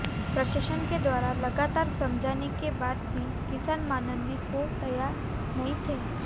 प्रशासन के द्वारा लगातार समझाने के बाद भी किसान मानने को तैयार नहीं थे